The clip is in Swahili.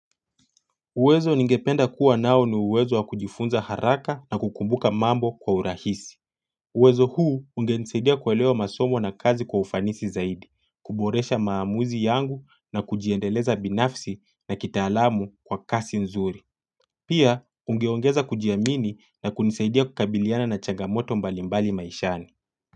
Uwezo ningependa kuwa nao ni uwezo wa kujifunza haraka na kukumbuka mambo kwa urahisi. Uwezo huu ungenisaidia kuelewa masomo na kazi kwa ufanisi zaidi, kuboresha maamuzi yangu na kujiendeleza binafsi na kitaalamu kwa kasi nzuri. Pia ungeongeza kujiamini na kunisaidia kukabiliana na changamoto mbalimbali maishani.